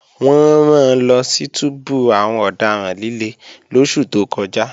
Wọ́n ran lọ sí túbú àwọn ọ̀daràn líle lóṣù tó kọjá